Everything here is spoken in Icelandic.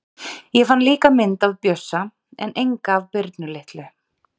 Ég fann líka mynd af Bjössa en enga af Birnu litlu.